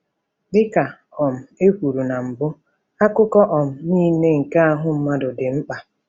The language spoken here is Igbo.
Dị ka um e kwuru na mbụ, akụkụ um nile nke ahụ mmadụ dị mkpa.